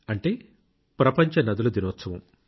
అంటే ప్రపంచ నదుల దినోత్సవం